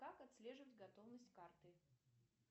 как отслеживать готовность карты